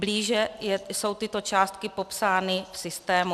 Blíže jsou tyto částky popsány v systému.